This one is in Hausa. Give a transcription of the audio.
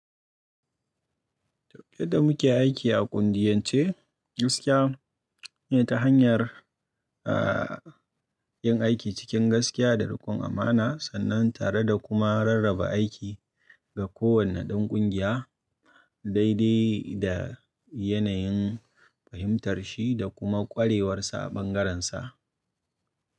Duk da muke aiki a ƙungiyance, gaskiya ne ta hanyar, aah yin aiki cikin gaskiya da riƙon amana sannan tare da kuma rarraba aiki ga kowane ɗan ƙungiya, daidai da yanayin fahimtarshi da kuma ƙwarewarsa a ɓangararsa.